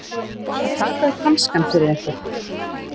Að taka upp hanskann fyrir einhvern